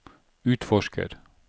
utforsker